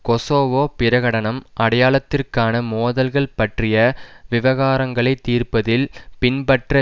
Kosovo பிரகடனம் அடையாளத்திற்கான மோதல்கள் பற்றிய விவகாரங்களை தீர்ப்பதில் பின்பற்ற